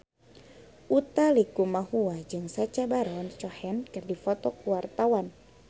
Utha Likumahua jeung Sacha Baron Cohen keur dipoto ku wartawan